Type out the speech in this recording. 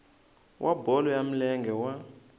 wa bolo ya milenge wa